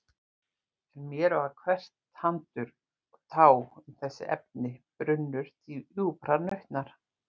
En mér var hvert tandur og tá um þessi efni brunnur djúprar nautnar.